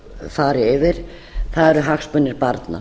fari yfir eru hagsmunir barna